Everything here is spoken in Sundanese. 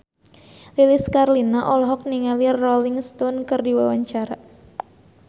Lilis Karlina olohok ningali Rolling Stone keur diwawancara